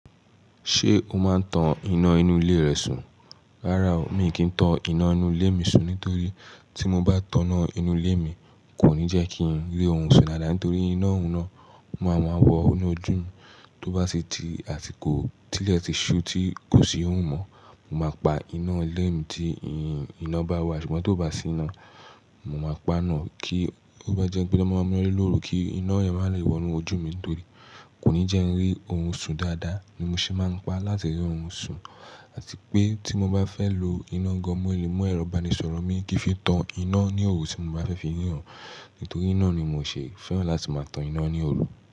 Ṣé o máa tan iná inú ilé rẹ sùn? Rárá o, mi kì tan iná inú ilé mi sùn nítorí tí mo bá tan iná inú ilé mi, kò ní jẹ́ kí n rí orun sùn dáadáa nítorí iná oun ná, o máa wọ inú ojú mi, tó bá sì di àsiko tilẹ̀ ti ṣú tí kò sì ohùn mọ́, mo máa pa iná ilé mi tí iná bá wà ṣùgbọ́n tó bá sí iná, mo máa pa naá, kí ó bá jẹ́ pé lọ́ máa mú ina de lóoru kí iná yẹn má lè wọ inú ojú mi nítorí kò ní jẹ́ n rí orùn sùn dáadáa ni mo ṣe máa ń pa láti rí orùn sùn. Àti pé tí mo bá fẹ́ lo iná gan mọ́ mu ẹ̀rọ ìbánisọ̀rọ̀ mi kì í fi tan iná ní òru tí mo bá fẹ́ fi ríran. Nítorí ná ni mò o ṣe fẹ́ràn láti máa tan iná ní òru.